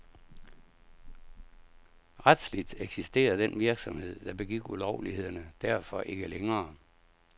Retsligt eksisterer den virksomhed, der begik ulovlighederne derfor ikke længere.